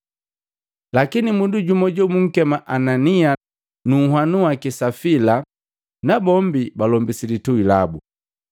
Lakini mundu jumu jobunkema Anania na ahanu baki Safila na bombi balombisi litui labu.